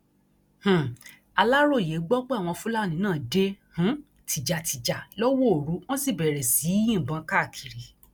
um aláròye gbọ pé àwọn fúlàní náà dé um tìjàtìjà lọwọ òru wọn sì bẹrẹ sí í yìnbọn káàkiri